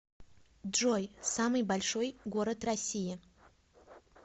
джой самый большой город россии